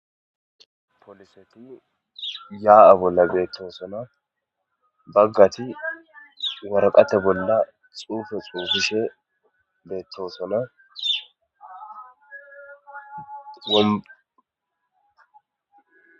poliseti yaa'a bolla beettosona, baggati waraqate bolla xuufe xafishe beettosona,